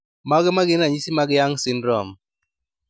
Mage magin ranyisi mag Young syndrome